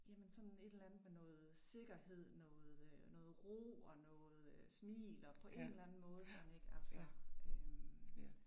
Jamen sådan et eller andet med noget sikkerhed, noget øh noget ro og noget øh smil og på en eller anden måde sådan ik altså øh